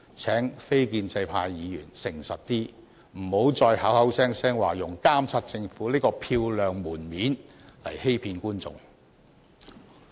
請非建制派議員誠實一點，不要再口口聲聲用"監察政府"這個漂亮藉口來欺騙公眾。